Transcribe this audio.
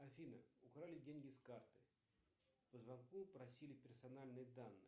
афина украли деньги с карты по звонку просили персональные данные